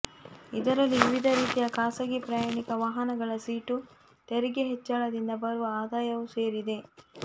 ಇದರಲ್ಲಿ ವಿವಿಧ ರೀತಿಯ ಖಾಸಗಿ ಪ್ರಯಾಣಿಕ ವಾಹನಗಳ ಸೀಟು ತೆರಿಗೆ ಹೆಚ್ಚಳದಿಂದ ಬರುವ ಆದಾಯವೂ ಸೇರಿದೆ